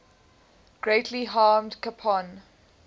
greatly harmed capone